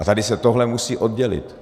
A tady se tohle musí oddělit.